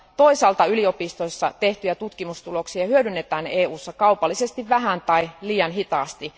Toisaalta yliopistoissa tehtyjä tutkimustuloksia hyödynnetään EUssa kaupallisesti vähän tai liian hitaasti.